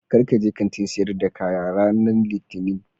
Kar ka je Kantin sayar da kaya ranan litinin